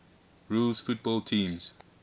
rules football teams